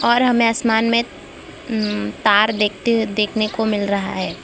और हमें आसमान में हं तार देखती हुई देखने को मिल रहा है।